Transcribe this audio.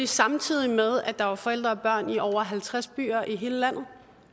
samtidig med at der var forældre og børn i over halvtreds byer i hele landet